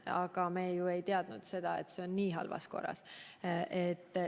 Aga me ei teadnud, et see on nii halvas korras.